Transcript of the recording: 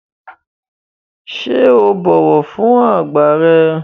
Ṣé o bọ̀wọ̀ fún àgbà rẹ?